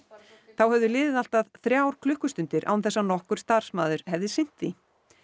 þá höfðu liðið allt að þrjár klukkustundir án þess að nokkur starfsmaður hefði sinnt því